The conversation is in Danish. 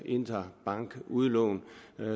interbankudlån